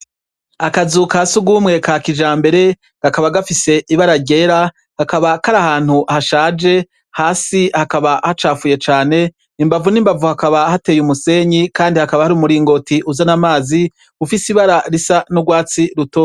Akazu ka surwumwe ka kijambere, kakaba gafise ibara ryera, kakaba kari ahantu hashaje, hasi hakaba hacafuye cane, imbavu n' imbavu hakaba hateye umusenyi kandi hakaba hari umuringoti uzana amazi, ufise ibara risa n' urwatsi rutoto.